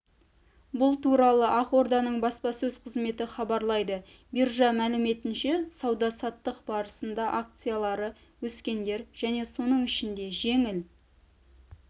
бұл туралы ақорданың баспасөз қызметі хабарлайды биржа мәліметінше сауда-саттық барысында акциялары өскендер және соның ішінде жеңіл